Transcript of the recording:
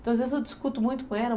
Então às vezes eu discuto muito com ela.